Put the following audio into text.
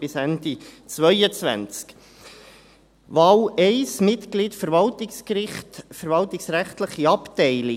Wahl 1, Mitglied des Verwaltungsgerichts, verwaltungsrechtliche Abteilung: